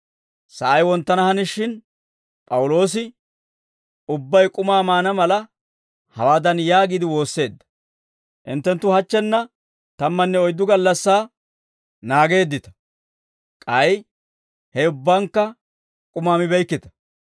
Sa'ay wonttana hanishin, P'awuloosi ubbay k'umaa maana mala, hawaadan yaagiide woosseedda; «Hinttenttu hachchenna tammanne oyddu gallassaa naageeddita; k'ay he ubbankka k'umaa mibeykkita.